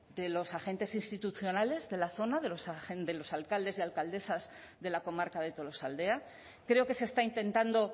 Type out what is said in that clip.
de los agentes institucionales de la zona de los alcaldes y alcaldesas de la comarca de tolosaldea creo que se está intentando